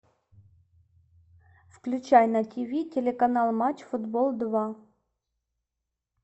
включай на тв телеканал матч футбол два